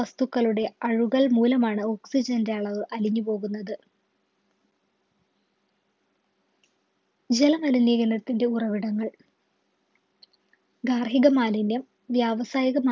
വസ്‌തുക്കളുടെ അഴുകൽമൂലമാണ് oxygen ൻ്റെ അളവ് അലിഞ്ഞുപോകുന്നത്. ജല മലിനീകരണത്തിന്റെ ഉറവിടങ്ങൾ ഗാർഹിക മാലിന്യം വ്യാവസായിക